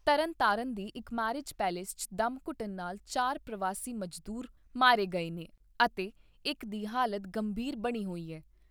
ਤਰਨਤਾਰਨ ਦੇ ਇਕ marriage palace 'ਚ ਡੈਮਘੁੱਟਣ ਨਾਲ ਚਾਰ ਪ੍ਰਵਾਸੀ ਮਜ਼ਦੂਰ ਮਾਰੇ ਗਏ ਨੇ ਅਤੇ ਇਕ ਦੀ ਹਾਲਤ ਗੰਭੀਰ ਬਣੀ ਹੋਈ ਏ।